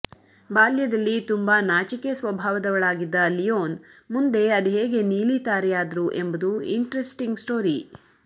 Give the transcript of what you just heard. ಬಾಲ್ಯದಲ್ಲಿ ತುಂಬಾ ನಾಚಿಕೆ ಸ್ವಭಾವದವಳಾಗಿದ್ದ ಲಿಯೋನ್ ಮುಂದೆ ಅದೇಗೆ ನೀಲಿತಾರೆಯಾದರು ಎಂಬುದು ಇಂಟ್ರೆಸ್ಟಿಂಕ್ ಸ್ಟೋರಿ